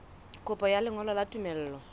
kopo ya lengolo la tumello